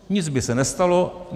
Nic by se nestalo.